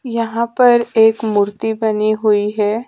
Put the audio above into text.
यहां पर एक मूर्ति बनी हुई है।